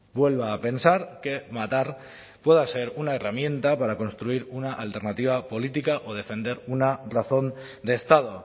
vuelva a pensar que matar pueda ser una herramienta para construir una alternativa política o defender una razón de estado